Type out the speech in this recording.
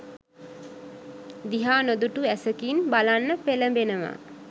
දිහා නොදුටු ඇසකින් බලන්න පෙලඹෙනවා.